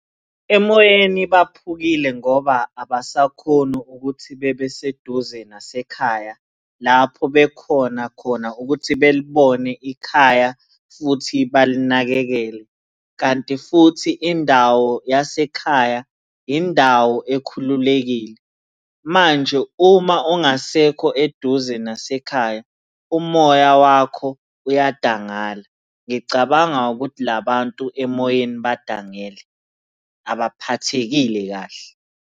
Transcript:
Emoyeni baphukile ngoba abasakhoni ukuthi bebe seduze nasekhaya lapho bekhona khona ukuthi belibone ikhaya, futhi balinakekele, kanti futhi indawo yasekhaya indawo ekhululekile. Manje uma ungasekho eduze nasekhaya umoya wakho uyadangala. Ngicabanga ukuthi la bantu emoyeni badangele, abaphathekile kahle.